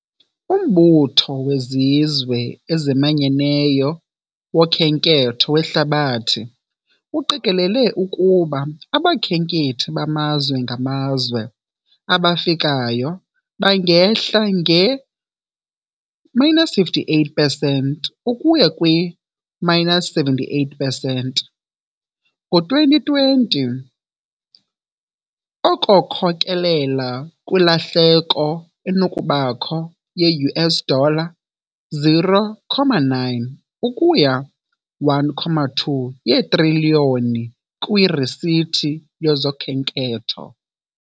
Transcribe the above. UMbutho weZizwe eziManyeneyo woKhenketho weHlabathi uqikelele ukuba abakhenkethi bamazwe ngamazwe abafikayo bangehla nge-minus 58 pesenti ukuya kwi-minus 78 pesenti ngo-2020, oko khokelela kwilahleko enokubakho ye-US dollar 0.9 ukuya 1.2 yetriliyoni kwiirisithi zokhenketho.